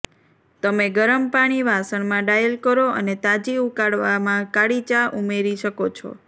તમે ગરમ પાણી વાસણમાં ડાયલ કરો અને તાજી ઉકાળવામાં કાળી ચા ઉમેરી શકો છો